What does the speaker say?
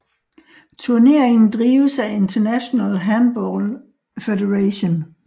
Turneringen drives af International Handball Federation